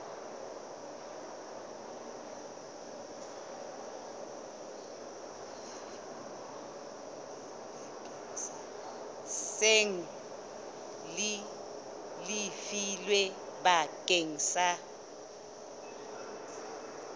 seng le lefilwe bakeng sa